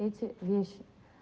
эти вещи